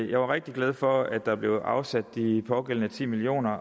jeg var rigtig glad for at der blev afsat de pågældende ti million